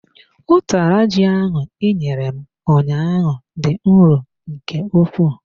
Utara ji ahụ inyere m ụnyaahụ dị nro nke ukwuu.